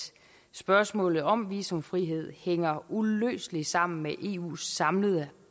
spørgsmålet om visumfrihed hænger uløseligt sammen med eus samlede